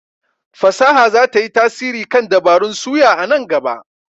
fasaha za ta yi tasiri kan dabarun suya a nan gaba.